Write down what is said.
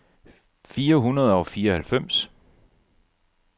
fire hundrede og fireoghalvfems